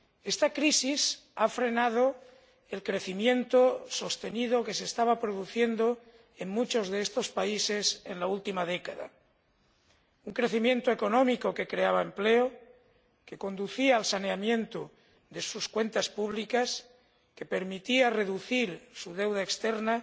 Esta crisis ha frenado el crecimiento sostenido que se estaba produciendo en muchos de estos países en la última década un crecimiento económico que creaba empleo, que conducía al saneamiento de sus cuentas públicas, que permitía reducir su deuda externa,